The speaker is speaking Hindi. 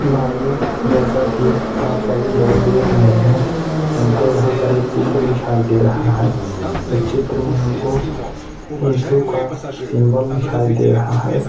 भाइयों जैसा की आप सभी लोग देख रहे हैं हमको यहाँ पर एक चित्र दिखाई दे रहा है। उस चित्र में हम को इशू का सिंबल दिखाई दे रहा है।